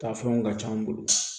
Taa fɛnw ka c'an bolo